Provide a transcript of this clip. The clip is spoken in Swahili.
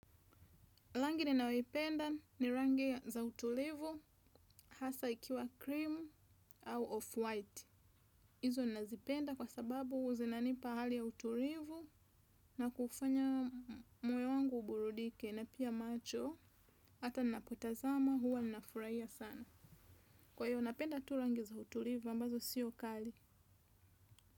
Rangi ninayoipenda ni rangi za utulivu hasa ikiwa kirimu au off-white. Hizo ninazipenda kwa sababu zinanipa hali ya utulivu na kufanya moyo wangu uburudike na pia macho. Hata ninapotazama huwa ninafurahia sana. Kwa hiyo napenda tu rangi za utulivu ambazo siyo kali.